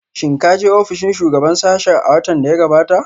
Shin ka je ofishin shugaban sashen a watan da ya gabata?